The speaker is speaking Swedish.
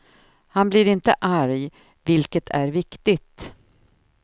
Han blir inte arg, vilket är viktigt.